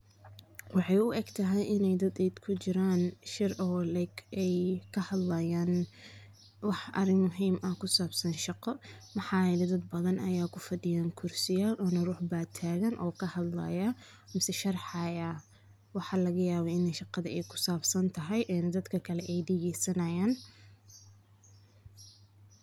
Waxey uegtahy in ey dad ey kujiraan shir oo like ey kahadlayaan wax arin muhiim ah kusaabsan shaqo maxaa yele dad badhan ayaa kufadiyaa kursiyal ona ruux baa tagan oo kahadlaya mise shaexaaya. Waxaa lagayaaba in shaqadha ey kusaabsan ee dadka kale ey dageey sanayaan.